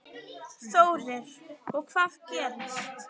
Þórir: Og hvað gerist?